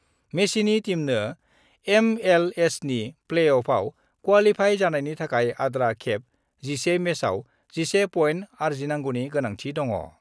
मेसिनि टीमनो एमएलएसनि प्लेअफआव क्वालिफाइ जानायनि थाखाय आद्रा खेब 11 मेचआव 11 पइन्ट आर्जिनांगौनि गोनांथि दङा।